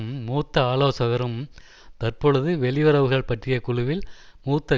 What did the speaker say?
மூத்த ஆலோசகரும் தற்பொழுது வெளியுறவுகள் பற்றிய குழுவில் மூத்த